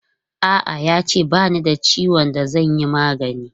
A'a, ya ce ba ni da ciwon da zan yi magani.